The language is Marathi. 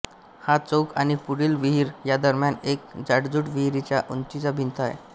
हा चौक आणि पुढील विहीर या दरम्यान एक जाडजूड विहिरीच्या उंचीची भिंत आहे